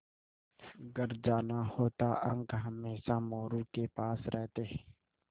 घर जाना होता अंक हमेशा मोरू के पास रहते